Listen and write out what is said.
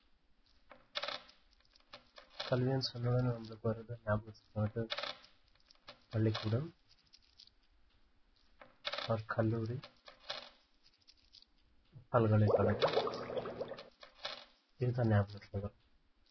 கல்வினு சொன்ன உடனே நம்பளுக்கு வரது நியாபகத்துக்கு வரது பள்ளிக்கூடம் or கல்லூரி, பல்கலைக்கழகம் இதுதான் நியாபகத்துக்கு வரும்